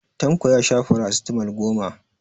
Tanko ya sha farasitamol goma.